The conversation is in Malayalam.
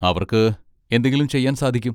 അവർക്ക് എന്തെങ്കിലും ചെയ്യാൻ സാധിക്കും.